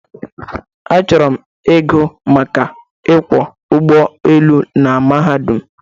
Achọrọ ịgụ maka ịkwọ ụgbọelu na mahadum.